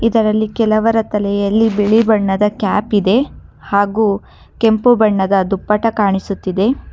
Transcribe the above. ಇದರಲ್ಲಿ ಕೆಲವರ ತಲೆಯಲ್ಲಿ ಬಿಳಿ ಬಣ್ಣದ ಕ್ಯಾಪ್ ಇದೆ ಹಾಗು ಕೆಂಪು ಬಣ್ಣದ ದುಪ್ಪಟ್ಟ ಕಾಣಿಸುತ್ತಿದೆ